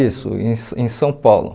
Isso, em em São Paulo.